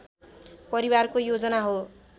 परिवारको योजना हो